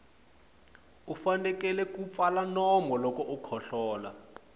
u fanekele ku pfala nomu loko u kohlola